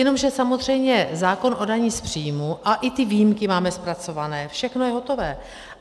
Jenomže samozřejmě zákon o dani z příjmu a i ty výjimky máme zpracované, všechno je hotové.